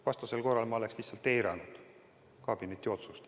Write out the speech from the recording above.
Vastasel korral oleksin ma lihtsalt eiranud kabineti otsust.